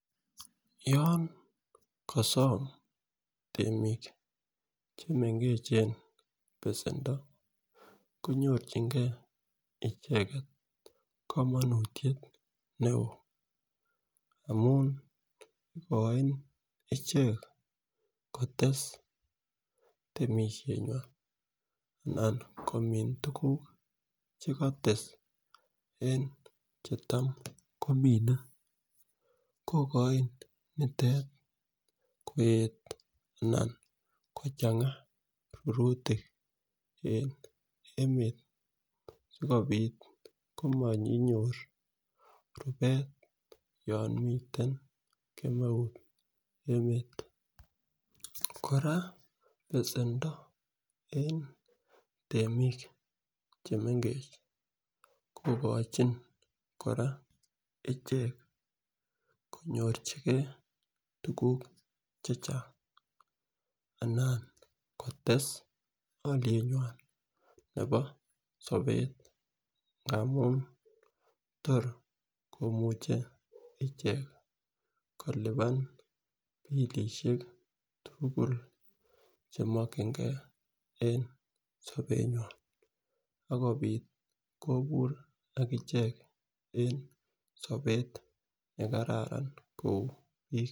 Yon kosom temik chemengech besendo koyochingee icheket komonutyet neo amun ikoin ichek kotesu temishet nywan anan komin tukuk chekostes en chetam komine kokoin nitet koet anan kochenga rurutik en emetab sikopit komokinyor rubet yon miten kemeut emet. Koraa besendo e temik chemengech kokochi koraa ichek konyochigee tukuk chechang anan kotess olienyw nebo sobet angamun tor komuche ichek kilipan bilishek tukuk chemokingee en sobenywan akopit kobur akichek en sobet nekararan kou bik.